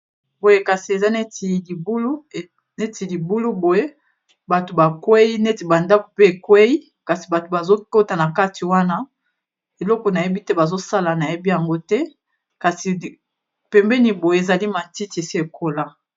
boye kasi eza neti libulu boye bato bakwei neti bandaku pe ekwei kasi bato bazokota na kati wana eloko nayebi te bazosala nayebi yango te kasi pembeni boye ezali matiti esekola